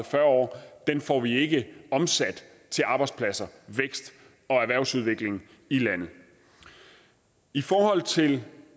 fyrre år får vi ikke omsat til arbejdspladser vækst og erhvervsudvikling i landet i forhold til